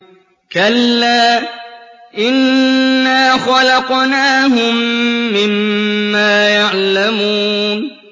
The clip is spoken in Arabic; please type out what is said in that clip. كَلَّا ۖ إِنَّا خَلَقْنَاهُم مِّمَّا يَعْلَمُونَ